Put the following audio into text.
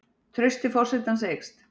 Traust til forsetans eykst